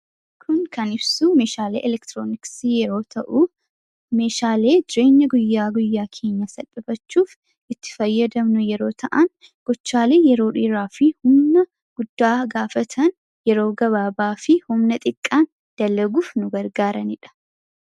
kun kan ibsuu meeshaalee elektrooniksii yeroo ta'u meeshaalee jireenya guyyaa guyyaa keenya saphifachuuf itti fayyadamnu yeroo ta'an gochaalee yeroo dhiiraa fi humna guddaa gaafatan yeroo gabaabaa fi homna xiqqaan dallaguuf nu gargaaraniidha